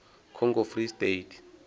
congo free state